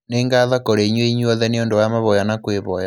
Nĩ ngatho kũrĩ inyuĩ inyuothe nĩ ũndũ wa mavoya na kwĩvoya.